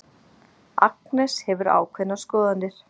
Agnes hefur ákveðnar skoðanir.